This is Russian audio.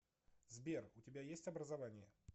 сбер у тебя есть образование